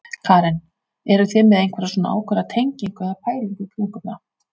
Karen: Eruð þið með einhverja svona ákveðna tengingu eða pælingu í kringum það?